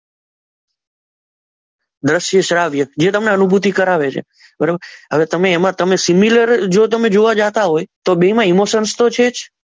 દશ્ય શ્રાવ્ય જે તમને અનુભૂતિ કરાવે છે બરાબર હવે તમે એમાં તમે સિનેમા ની અંદર જ તમે જોવા જાતા હોય એમાં ઈમોશન તો છે જ